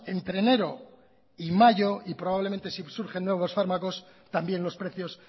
entre enero y mayo y probablemente si surgen nuevos fármacos también los precios